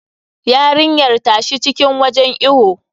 Yarinyar ta shi cikin wajen iwo.